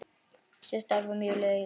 Síðasta ár var mjög lélegt.